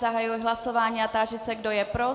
Zahajuji hlasování a táži se, kdo je pro.